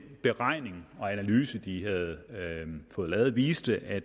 beregning og analyse de havde fået lavet viste at